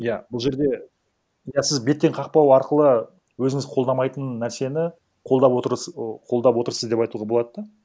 иә бұл жерде иә сіз беттен қақпау арқылы өзіңіз қолдамайтын нәрсені қолдап ы қолдап отырсыз деп айтуға болады да